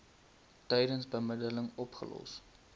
tydens bemiddeling opgelos